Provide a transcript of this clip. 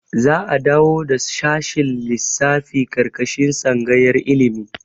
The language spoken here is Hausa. Za'a dawo da shashin lissafi ƙarƙashin tsangayar ilimi.